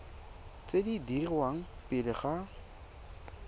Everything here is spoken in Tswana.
tse di dirwang pele ga